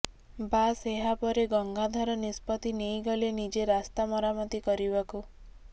ବାସ୍ ଏହାପରେ ଗଙ୍ଗାଧର ନିଷ୍ପତ୍ତି ନେଇଗଲେ ନିଜେ ରାସ୍ତା ମରାମତି କରିବାକୁ